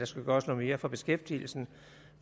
skal gøres noget mere for beskæftigelsen